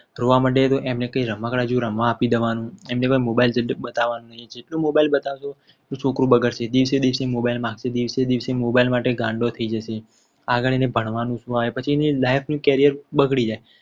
રોવા માંડે તો એમને કંઈક રમકડા જેવું રમવા આપી દેવાનું એમને mobile બતાવવાનું નહીં. જેટલું mobile બતાવશો એટલું છોકરું બગડશે. દિવસે mobile માં કે દિવસે mobile માટે ગાંડો થઈ જશે. આગળ એને ભણવાનું હોય પછી એની life નું carrier બગડી જાય.